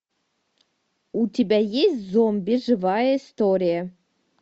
у тебя есть зомби живая история